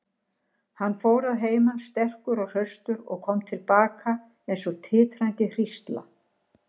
Hann fór að heiman sterkur og hraustur og kom til baka eins og titrandi hrísla.